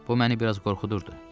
Bu məni biraz qorxudurdu.